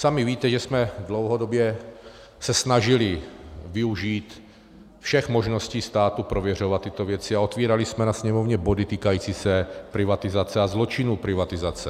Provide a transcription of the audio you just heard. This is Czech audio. Sami víte, že jsme dlouhodobě se snažili využít všech možností státu prověřovat tyto věci a otvírali jsme ve Sněmovně body týkající se privatizace a zločinů privatizace.